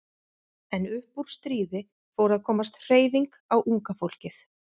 En upp úr stríði fór að komast hreyfing á unga fólkið.